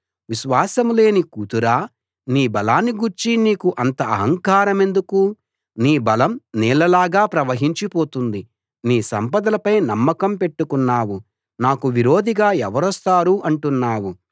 విశ్వాసం లేని కూతురా నీ బలాన్ని గూర్చి నీకు అంత ఆహంకారమెందుకు నీ బలం నీళ్ళ లాగా ప్రవహించి పోతుంది నీ సంపదలపై నమ్మకం పెట్టుకున్నావు నాకు విరోధిగా ఎవరొస్తారు అంటున్నావు